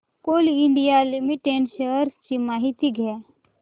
Coal India Limited shares ची माहिती द्या